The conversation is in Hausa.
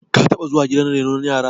ka taba zuwa gidan renon yara